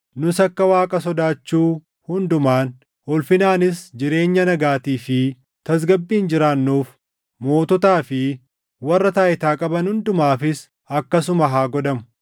nus akka Waaqa sodaachuu hundumaan, ulfinaanis jireenya nagaatii fi tasgabbiin jiraannuuf moototaa fi warra taayitaa qaban hundumaafis akkasuma haa godhamu.